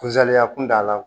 Kusaliya kun da la